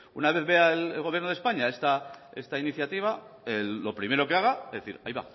una vez vea el gobierno de españa esta iniciativa lo primero que haga decir